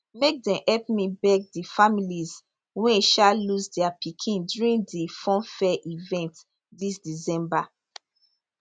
make dem help me beg di families wey um lose dia pikin during di funfair event dis december